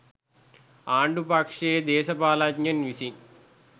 ආණ්ඩු පක්ෂයේ දේශපාලනඥයින් විසින්